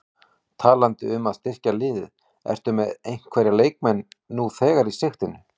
Talandi um að styrkja liðið, ertu með einhverja leikmenn nú þegar í sigtinu?